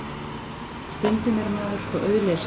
Stundum er maður svo auðlesinn.